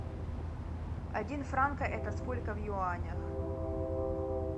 один франка это сколько в юанях